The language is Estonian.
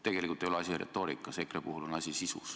Tegelikult ei ole asi retoorikas, EKRE puhul on asi sisus.